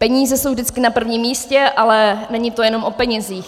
Peníze jsou vždycky na prvním místě, ale není to jenom o penězích.